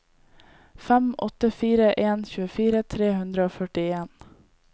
fem åtte fire en tjuefire tre hundre og førtien